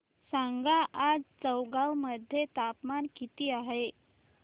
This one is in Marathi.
सांगा आज चौगाव मध्ये तापमान किता आहे